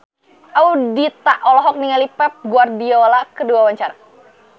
Ayudhita olohok ningali Pep Guardiola keur diwawancara